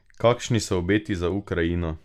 Kakšni so obeti za Ukrajino?